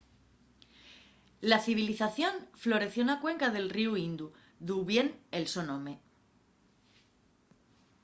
la civilización floreció na cuenca del ríu indu d’u vien el so nome